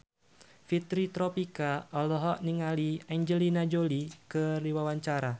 Fitri Tropika olohok ningali Angelina Jolie keur diwawancara